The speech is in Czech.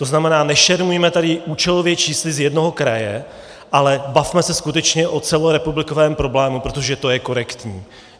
To znamená, nešermujme tady účelově čísly z jednoho kraje, ale bavme se skutečně o celorepublikovém problému, protože to je korektní.